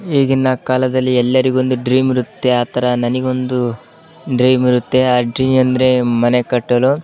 ಈಗಿನ ಕಾಲದಲ್ಲಿ ಎಲ್ಲರಿಗೂ ಒಂದು ಡ್ರೀಮ್ ಇರುತ್ತೆ. ಆ ತರ ನಾನಗೆ ಒಂದು ಡ್ರೀಮ್ ಇರುತ್ತೆ ಆ ಡ್ರೀಮ್ ಮನೆ ಕಟ್ಟಲು--